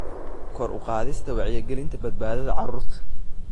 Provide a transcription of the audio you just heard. Kor u qaadista Wacyigelinta Badbaadada Cuntada.